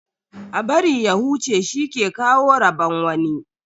A bari ya huce shi ke kawo rabon wani.